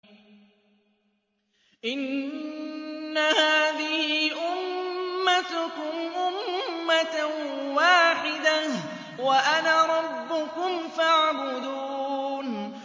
إِنَّ هَٰذِهِ أُمَّتُكُمْ أُمَّةً وَاحِدَةً وَأَنَا رَبُّكُمْ فَاعْبُدُونِ